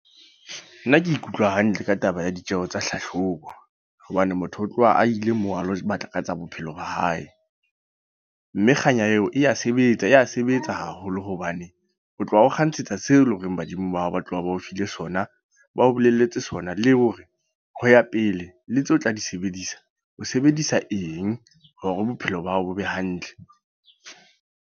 Nna ke ikutlwa hantle ka taba ya ditjeho tsa hlahlobo. Hobane motho o tloha a ile moo, a lo batla ka tsa bophelo ba hae. Mme kganya eo, e ya sebetsa ya sebetsa haholo. Hobane o tloha o kgantshetsa seo e leng horeng badimo ba hao ba tloha ba o file sona. Ba o bolelletse sona, le hore ho ya pele le tseo tla di sebedisa. O sebedisa eng hore bophelo ba hao bo be hantle.